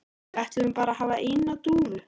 Við ætlum bara að hafa eina dúfu